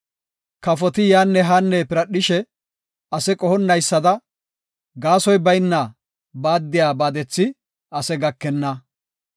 Kafoti yaanne haanne piradhishe ase qohonnaysada, gaasoy bayna baaddiya baadethi ase gakenna.